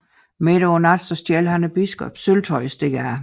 Midt om natten stjæler han biskoppens sølvtøj og stikker af